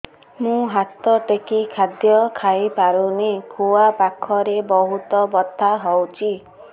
ମୁ ହାତ ଟେକି ଖାଦ୍ୟ ଖାଇପାରୁନାହିଁ ଖୁଆ ପାଖରେ ବହୁତ ବଥା ହଉଚି